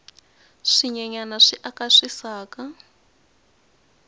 swinyenyani swi aka swisaka